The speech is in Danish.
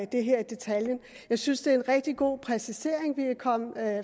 det her i detaljen jeg synes det er en rigtig god præcisering vi er kommet